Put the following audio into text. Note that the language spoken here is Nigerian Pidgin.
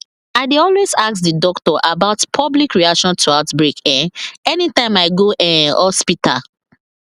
i dey always ask the doctor about public reaction to outbreak um anytym i go um hospital